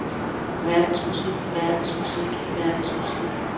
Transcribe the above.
verdensmusik verdensmusik verdensmusik